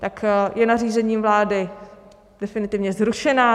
Tak je nařízením vlády definitivně zrušeno?